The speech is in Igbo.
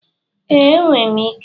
Ee, enwere m ike.